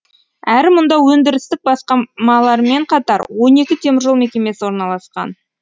әрі мұнда өндірістік басқамалармен қатар он екі теміржол мекемесі орналасқан